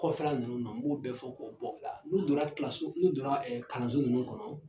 Kɔfɛla ninnu na n b'o bɛɛ fɔ k'o bɔ a la n'u donna n'u donna kalanso ninnu kɔnɔ.